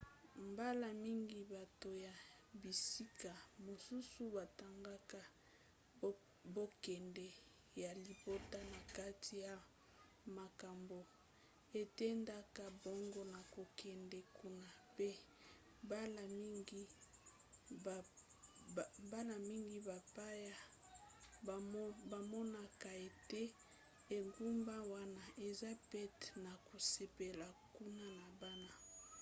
mbala mingi bato ya bisika mosusu batangaka bonkonde ya libota na kati ya makambo etindaka bango na kokende kuna pe mbala mingi bapaya bamonaka ete engumba wana eza pete na kosepela kuna na bana